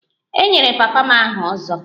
E nyere papa m aha 'ozo'